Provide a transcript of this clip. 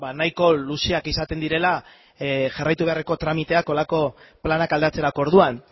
nahiko luzeak izaten direla jarraitu beharreko tramiteak horrelako planak aldatzerako orduan